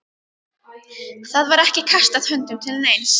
Það var ekki kastað höndum til neins.